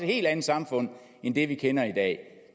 helt andet samfund end det vi kender i dag